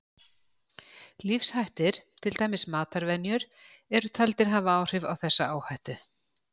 Lífshættir, til dæmis matarvenjur, eru taldir hafa áhrif á þessa áhættu.